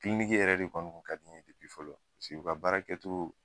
yɛrɛ de kɔni kun ka di n ye fɔlɔ se u ka baara kɛtoo